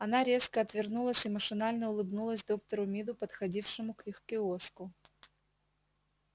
она резко отвернулась и машинально улыбнулась доктору миду подходившему к их киоску